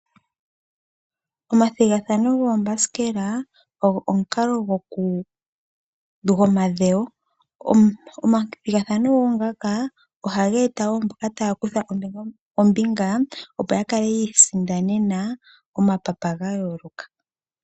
Omathigathano goombasikela ogo omukalo gomadhewo . Omathigathano ngaka ohaga eta mboka taya kutha oombinga opo yakale yiisindanene omapapa gayooloka.